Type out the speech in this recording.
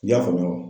I y'a faamu wa